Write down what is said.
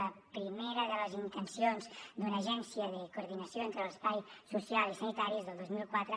la primera de les intencions d’una agència de coordinació entre l’espai social i sanitari és del dos mil quatre